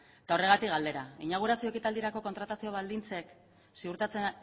eta horregatik galdera inaugurazio ekitaldirako kontratazio baldintzek ziurtatzen